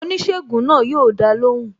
Oníṣègùn náà yo dá lóhùn